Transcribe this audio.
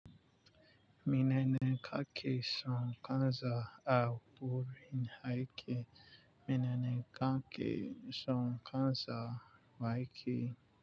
Menene kake son kanza a wurin aiki? Menene kake son kanza waike?